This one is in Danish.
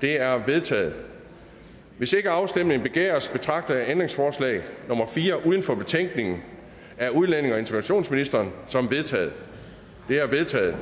det er vedtaget hvis ikke afstemning begæres betragter jeg ændringsforslag nummer fire uden for betænkningen af udlændinge og integrationsministeren som vedtaget det er vedtaget